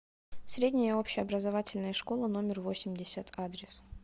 средняя общеобразовательная школа номер восемьдесят адрес